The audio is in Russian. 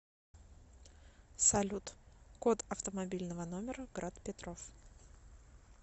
салют код автомобильного номера град петров